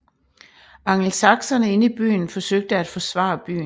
Angelsakserne inde i byen forsøgte at forsvare byen